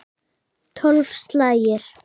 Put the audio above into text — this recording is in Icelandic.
Tólf slagir.